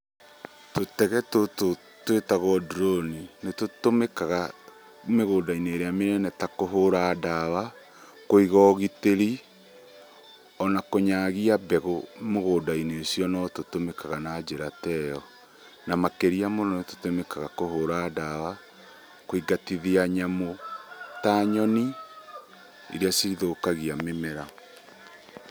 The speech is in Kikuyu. Tũtege tũtũ twĩtagwo ndurũni nĩtũtũmĩkaga mĩgũnda-inĩ ĩrĩa minene ta kũhũra ndawa, kũiga ũgitĩri ona kũnyagia mbegũ mugũnda-inĩ ucio nĩtũtũmĩkaga na njĩra teyo. Na makĩria mũno nĩtũtũmĩkaga kũhũra ndawa, kũingatithia nyamũ ta nyoni iria cithũkagia mĩmera.